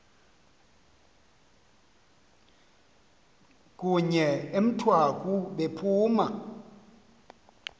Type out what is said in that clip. kunye emthwaku bephuma